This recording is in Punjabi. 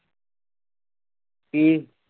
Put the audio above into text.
ਕੀ?